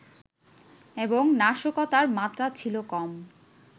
এবং নাশকতার মাত্রা ছিল কম